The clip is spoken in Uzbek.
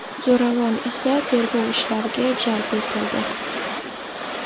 Zo‘ravon esa tergov ishlariga jalb etildi.